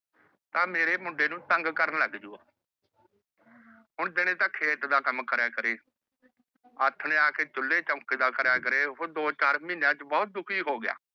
ਤਾਂ ਮੇਰੇ ਮੁੰਡੇ ਨੂੰ ਤੰਗ ਕਰਨ ਲੱਗ ਜੁ। ਹੁਣ ਦਿਨੇ ਤਾਂ ਖੇਤ ਦਾ ਕੰਮ ਕਰਿਆ ਕਰੇ। ਆਥਣੇ ਆਕੇ ਚੁੱਲ੍ਹੇ ਚੋਂਕੇ ਦਾ ਕਰਿਆ ਕਰੇ। ਉਹ ਦੋ ਚਾਰ ਮਹੀਨਿਆਂ ਚ ਬਹੁਤ ਦੁਖੀ ਹੋ ਗਿਆ।